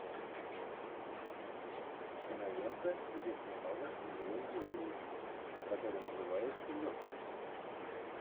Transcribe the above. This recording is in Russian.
кинолента где снималась милла йовович которая называется лед